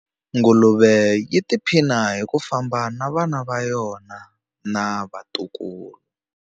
Nguluve yi tiphina hi ku famba na vana va yona na vatukulu.